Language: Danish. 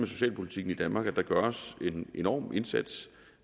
socialpolitikken i danmark at der gøres en enorm indsats